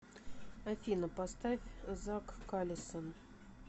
афина поставь зак калисон